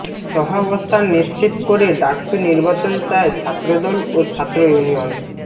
সহাবস্থান নিশ্চিত করে ডাকসু নির্বাচন চায় ছাত্রদল ও ছাত্র ইউনিয়ন